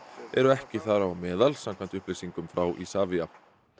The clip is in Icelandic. eru ekki þar á meðal samkvæmt upplýsingum frá Isavia